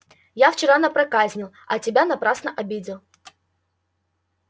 я вчера напроказил а тебя напрасно обидел